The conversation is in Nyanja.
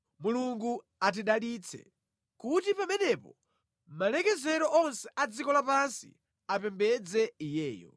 Mulungu atidalitse kuti pamenepo malekezero onse a dziko lapansi apembedze Iyeyo.